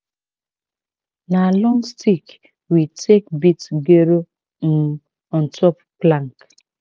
na long stick we take beat um ontop plank.